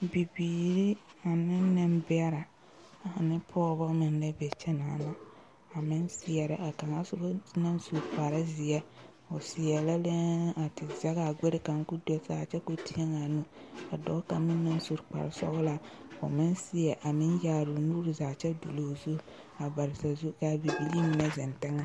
Bibiiri ane nenbɛre ane pɔgeba meŋ la be kyɛ a meŋ seɛrɛ a kaŋa soba naŋ su kpare ziɛ seɛrɛ la lɛɛ a te zage a gbare kaŋ ko do saa kyɛ ko tieŋa a nu ka dɔɔ kaŋa meŋ naŋ su kpare sɔglaa a meŋ seɛ a meŋ yaare o nuure zaa kyɛ duloŋ zu a bare saazu ka bibilee mine zeŋ teŋa.